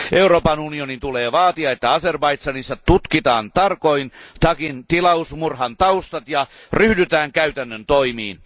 Euroopan unionin tulee vaatia, että Azerbaidžanissa tutkitaan tarkoin Tagin tilausmurhan taustat ja ryhdytään käytännön toimiin.